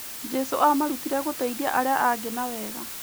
Jesũ aamarutire gũteithia arĩa angĩ na wega.